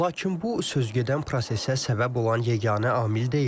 Lakin bu, sözügedən prosesə səbəb olan yeganə amil deyil.